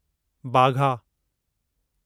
Wagah